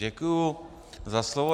Děkuju za slovo.